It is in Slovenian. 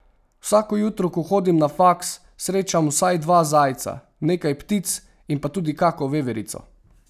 Vsako jutro, ko hodim na faks, srečam vsaj dva zajca, nekaj ptic in pa tudi kako veverico.